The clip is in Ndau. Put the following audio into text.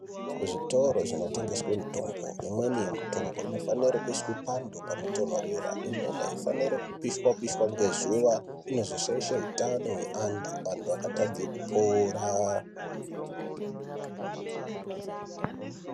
Kuzvitoro zvinotengeswe mitombo imweni yemitombo inofanire kuiswe panhu panotonhorera imweni aifani kupishwe pishwe ngezuwa inozoshaishe utano hweantu antu akatadze kupora.